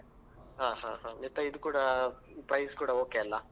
ಹಾ ಹಾ ಹಾ ಮತ್ತೆ ಇದು ಕೂಡ price ಕೂಡ okay ಅಲ್ಲಾ.